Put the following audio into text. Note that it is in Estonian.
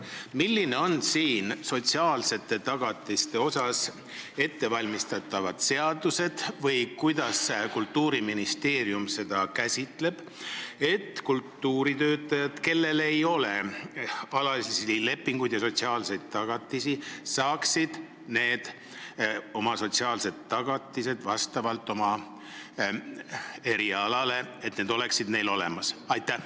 Millised on nende inimeste sotsiaalseid tagatisi silmas pidavad seadusandlikud ettevalmistused või kuidas kavatseb Kultuuriministeerium tagada, et ka kultuuritöötajatel, kellel ei ole alalisi töölepinguid, oleks sotsiaalsed tagatised siiski olemas?